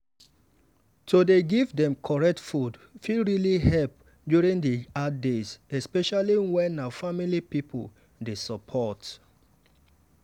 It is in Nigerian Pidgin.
to dey give dem correct food fit really help during the hard days especially when na family people dey support.